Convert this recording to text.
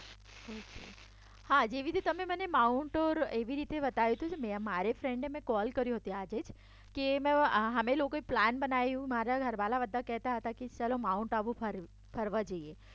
હા જેવી રીતે તમે માઉન્ટ ટુર એવી રીતે બતાયુ તુ કે મારી ફ્રેન્ડને મે કોલ કર્યો તો આજે જ કે અમે લોકોએ પ્લાન બનાયું મારા ઘરવાળા બધાએ કહેતા હતા કે ચલો માઉન્ટ આબુ ફરવા જઈએ ઓકે